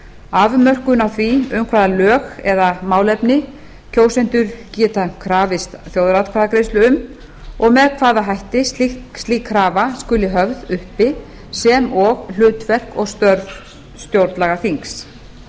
afmörkun á því um hvaða lög eða málefni kjósendur geta krafist þjóðaratkvæðagreiðslu og með hvaða hætti slík krafa skuli höfð uppi sem og hlutverk og störf stjórnlagaþings vík